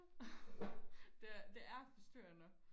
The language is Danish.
det er det er forstyrrende